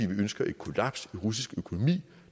vi ønsker et kollaps i russisk økonomi